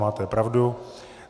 Máte pravdu.